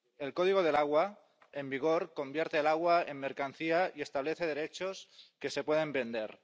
El código del agua en vigor convierte el agua en mercancía y establece derechos que se pueden vender.